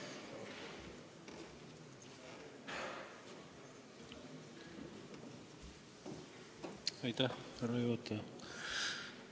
Härra juhataja!